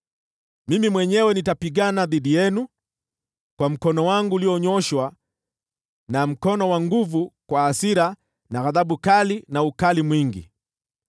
Mimi mwenyewe nitapigana dhidi yenu kwa mkono wangu ulionyooshwa na mkono wa nguvu, kwa hasira na ghadhabu kali na ukali mwingi.